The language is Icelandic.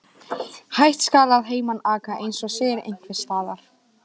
Hægt skal að heiman aka, eins og segir einhvers staðar.